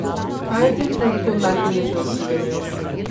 Kaj je v tem trenutku najpomembnejše za Slovenijo?